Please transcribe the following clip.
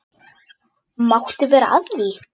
Máttu vera að því?